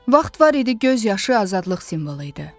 Vaxt var idi göz yaşı azadlıq simvolu idi.